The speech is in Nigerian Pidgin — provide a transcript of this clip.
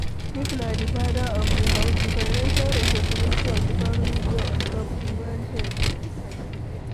If na di father of di house, di financial responsibility of di family dey ontop di man head